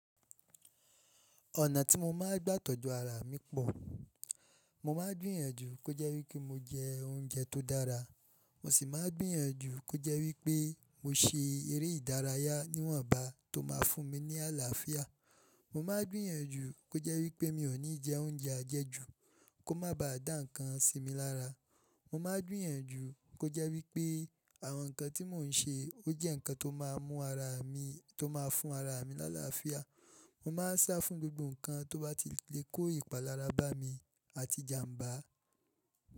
Ọ̀nà tí mo máa ń gbà tọ́jú ara mi pọ̀. Mo máa ń gbìyànjú kó jẹ́ wí pé mo jẹ oúnjẹ tó dára. Mo sì máa gbìyànjú kó jẹ́ wí pé mo ṣe eré ìdárayá níwọ̀nba tó máa fún mi ní àlàáfíà. Mo máa gbìyànjú kó jẹ́ wí pé mi ò ní jẹ oúnjẹ ajẹjù kó má baa dá ǹkan sí mi lára. Mo máa gbìyànjú kó jẹ́ wí pé àwọn ǹkan tí mò ń ṣe ó jẹ́ ǹkan tó máa mú ara mi, tó máa fún ara mi láàláàáfíà. Mo máa ń sá fún gbogbo ǹkan tó bá ti lè kó ìpalára bá mi àti jàǹbá.